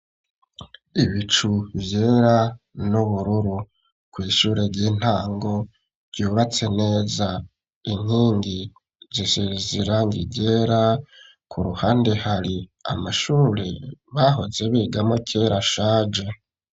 Ibicu vyera n'ubururu kw'ishure ry'intango ryubatse neza inkingi zisize irangi ryera ku ruhande hari amashuri bahoze bigamwo kera ashaje